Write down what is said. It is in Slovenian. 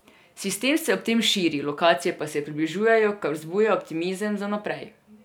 Sistem se ob tem širi, lokacije pa se približujejo, kar vzbuja optimizem za naprej.